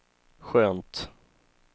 skönt